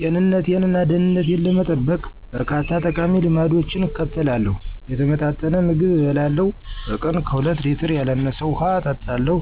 ጤንነቴን እና ደህንነቴን ለመጠበቅ፣ በርካታ ጠቃሚ ልማዶችን እከተላለሁ። የተመጣጠነ ምግብ እበላለሁ፣ በቀን ከሁለት ሌትር ያላነሰ ውሃ እጠጣለሁ፣